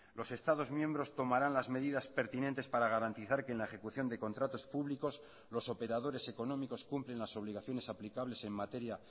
los estados miembros tomarán las medidas pertinentes para garantizar que en la ejecución de contratos públicos los operadores económicos cumplen las obligaciones aplicables en materia